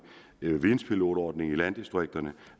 videnpilotordningen i landdistrikterne